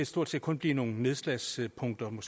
stort set kun blive nogle nedslagspunkter man